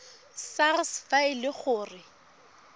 sars fa e le gore